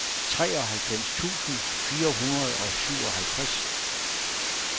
treoghalvfems tusind fire hundrede og syvoghalvtreds